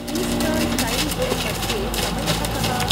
Eastern time zone मध्ये समयः कः ?